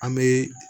An bɛ